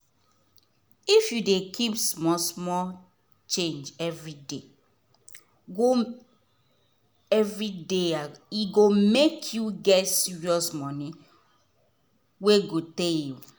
if you dey keep small small change every day go every day um e go make you get serious money wey go tey.